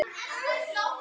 Verkinu er ekki lokið.